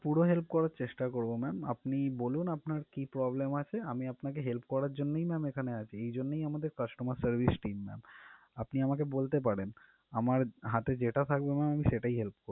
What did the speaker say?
পুরো help করার চেষ্টা করবো ma'am আপনি বলুন আপনার কি problem আছে আমি আপনাকে help করার জন্যই এখানে আছি এজন্যই আমাদের customer service team ma'am আপনি আমাকে বলতে পারেন আমার হাতে যেটা থাকবে ma'am আমি সেটাই help করব